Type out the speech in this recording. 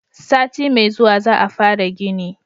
sati mai zuwa za a fara gini